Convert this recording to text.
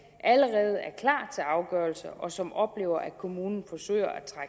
allerede er klar til afgørelse og som oplever at kommunen forsøger at